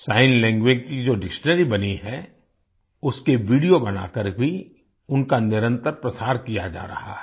sign language कीजो dictionary बनी है उसके वीडियो बनाकर भी उनका निरंतर प्रसार किया जा रहा है